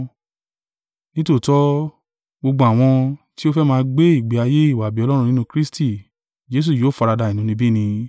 Nítòótọ́, gbogbo àwọn tí ó fẹ́ máa gbé ìgbé ayé ìwà-bí-Ọlọ́run nínú Kristi Jesu yóò faradà inúnibíni.